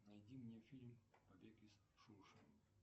найди мне фильм побег из шоушенка